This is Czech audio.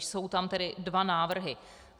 Jsou tam tedy dva návrhy.